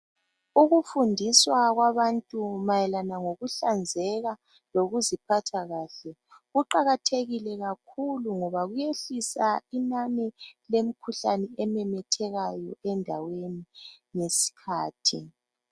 Ukufundiswa kwabantu mayelana ngokuhlanzeka lokuziphatha kahle kuqakathekile kakhulu ngoba kuyehlisa inanai lemkhuhlane ememethekayo endaweni ngesikhathi.